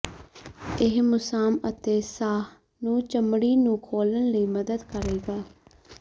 ਇਹ ਮੁਸਾਮ ਅਤੇ ਸਾਹ ਨੂੰ ਚਮੜੀ ਨੂੰ ਖੋਲ੍ਹਣ ਲਈ ਮਦਦ ਕਰੇਗਾ